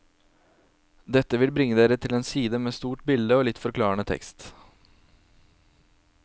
Dette vil bringe dere til en side med stort bilde og litt forklarende tekst.